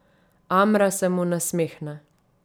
Amra se mu nasmehne.